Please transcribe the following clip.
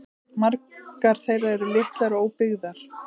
Margar þeirra eru litlar og óbyggðar